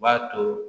U b'a to